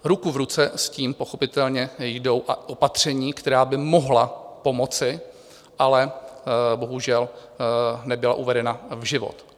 Ruku v ruce s tím pochopitelně jdou opatření, která by mohla pomoci, ale bohužel nebyla uvedena v život.